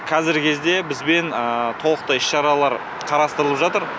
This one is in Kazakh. қазіргі кезде бізбен толықтай іс шаралар қарастырылып жатыр